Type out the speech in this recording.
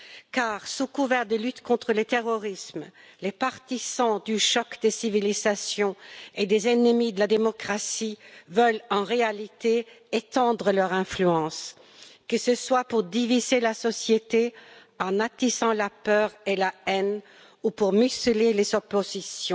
Car, sous couvert de lutte contre le terrorisme, les partisans du choc des civilisations et les ennemis de la démocratie veulent en réalité étendre leur influence, que ce soit pour diviser la société en attisant la peur et la haine ou pour museler les oppositions.